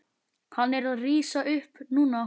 Hann er að rísa upp núna.